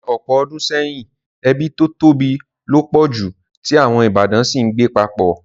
Ní ọ̀pọ̀ odùn seyìn, ebí to tóbi lo pọ̀ ju, ti àwon ìbátan si n gbé papọ̀